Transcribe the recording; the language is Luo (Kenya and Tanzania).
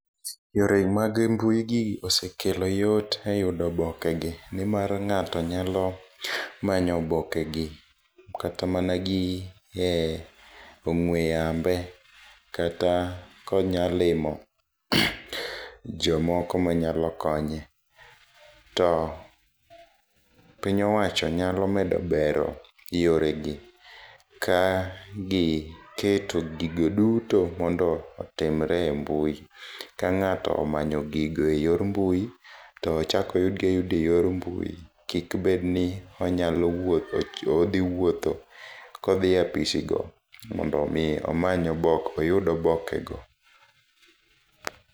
Yore mag mbui gi osekelo yot e yudo oboke gi nimar ng'ato nyalo manyo oboke gi kata mana gi e ong'we yambe. Kata konyalimo jomoko manyalo konye. To piny owacho nyalo medo bero yore gi ka giketo gigo duto mondo otimre e mbui. Kang'ato omanyo gigo e yor mbui to ochak oyud gi ayuda e yor mbui. Kik bed ni onyalo wuotho odhi wuotho kodhie opisi go nimondo omiye omany oyud obike go.